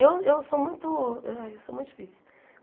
Eu eu sou muito ai eu sou muito difícil.